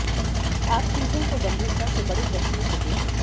आप चीजों को गंभीरता से बड़े चश्मे से देखें